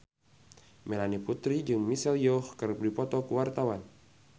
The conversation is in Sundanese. Melanie Putri jeung Michelle Yeoh keur dipoto ku wartawan